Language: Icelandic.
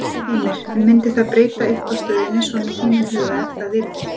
Heimir: En myndi það breyta eitthvað stöðunni svona í þínum huga ef að það yrði?